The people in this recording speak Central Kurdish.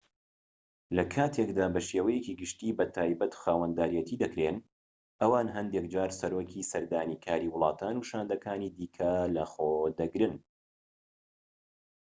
لە کاتێکدا بە شێوەیەکی گشتی بە تایبەت خاوەنداریەتی دەکرێن ئەوان هەندێك جار سەرۆکی سەردانیکاری وڵاتان و شاندەکانی دیکە لەخۆ دەگرن